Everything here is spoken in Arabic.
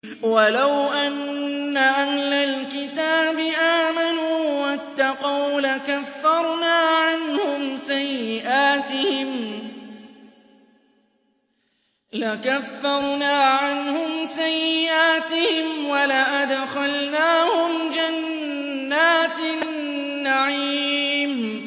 وَلَوْ أَنَّ أَهْلَ الْكِتَابِ آمَنُوا وَاتَّقَوْا لَكَفَّرْنَا عَنْهُمْ سَيِّئَاتِهِمْ وَلَأَدْخَلْنَاهُمْ جَنَّاتِ النَّعِيمِ